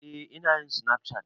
Eh ina yin safcat